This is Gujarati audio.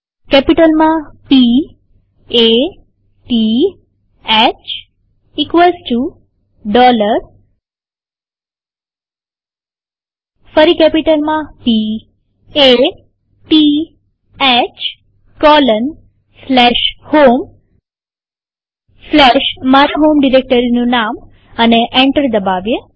કેપિટલમાંP A T H ફરી કેપિટલ માંP A T H 160 homeમારા હોમ ડિરેક્ટરીનું નામ એન્ટર દબાવીએ